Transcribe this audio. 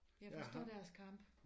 Jeg forstår deres kamp